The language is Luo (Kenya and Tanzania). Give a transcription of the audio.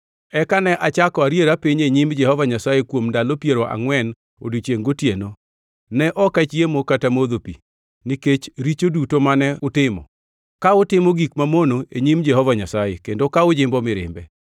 Eka ne achako ariera piny e nyim Jehova Nyasaye kuom ndalo piero angʼwen odiechiengʼ gotieno; ne ok achiemo kata modho pi, nikech richo duto mane utimo, ka utimo gik mamono e nyim Jehova Nyasaye, kendo ka ujimbo mirimbe.